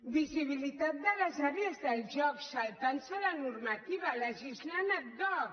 visibilitat de les àrees de joc saltant se la normativa legislant ad hoc